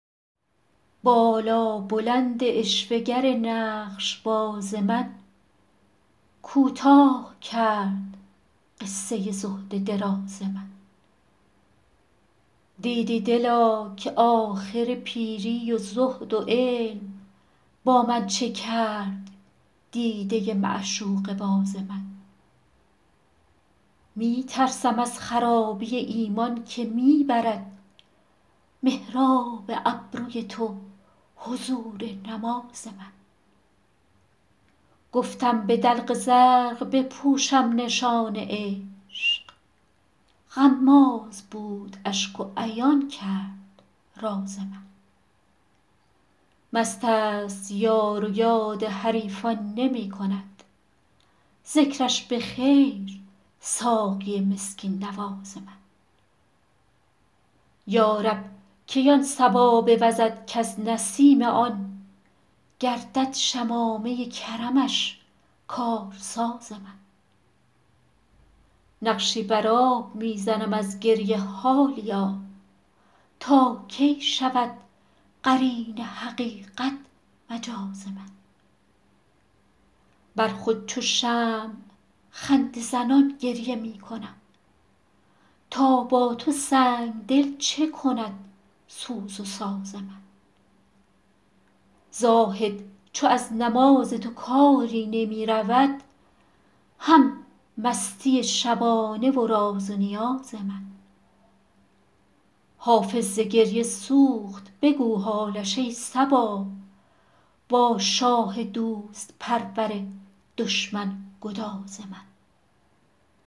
بالابلند عشوه گر نقش باز من کوتاه کرد قصه زهد دراز من دیدی دلا که آخر پیری و زهد و علم با من چه کرد دیده معشوقه باز من می ترسم از خرابی ایمان که می برد محراب ابروی تو حضور نماز من گفتم به دلق زرق بپوشم نشان عشق غماز بود اشک و عیان کرد راز من مست است یار و یاد حریفان نمی کند ذکرش به خیر ساقی مسکین نواز من یا رب کی آن صبا بوزد کز نسیم آن گردد شمامه کرمش کارساز من نقشی بر آب می زنم از گریه حالیا تا کی شود قرین حقیقت مجاز من بر خود چو شمع خنده زنان گریه می کنم تا با تو سنگ دل چه کند سوز و ساز من زاهد چو از نماز تو کاری نمی رود هم مستی شبانه و راز و نیاز من حافظ ز گریه سوخت بگو حالش ای صبا با شاه دوست پرور دشمن گداز من